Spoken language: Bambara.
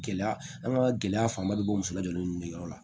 Gɛlɛya an ka gɛlɛya fanba bɛ bɔ muso lajigin ninnu yɔrɔ la